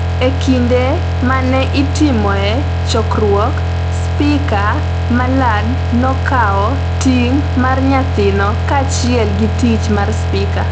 E kinde ma ne itimoe chokruok, Spika Mallard nokawo ting’ mar nyathino kaachiel gi tich mar Spika.